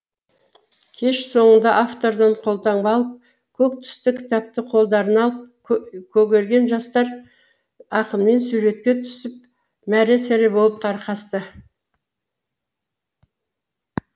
кеш соңында автордан қолтаңба алып көк түсті кітапты қолдарына алып көгерген жастар ақынмен суретке түсіп мәре сәре болып тарқасты